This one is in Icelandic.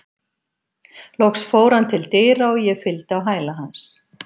Loks fór hann til dyra og ég fylgdi á hæla hans.